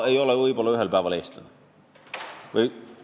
Võib-olla ühel päeval ei saa nad enam Eesti kodanikud olla.